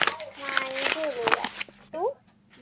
नाही गेले यार तू